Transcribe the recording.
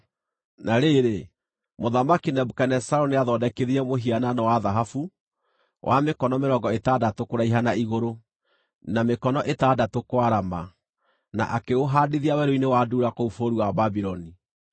Na rĩrĩ, Mũthamaki Nebukadinezaru nĩathondekithirie mũhianano wa thahabu, wa mĩkono mĩrongo ĩtandatũ kũraiha na igũrũ, na mĩkono ĩtandatũ kwarama, na akĩũhaandithia werũ-inĩ wa Dura kũu bũrũri wa Babuloni.